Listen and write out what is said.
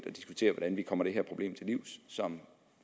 at diskutere hvordan vi kommer det her problem som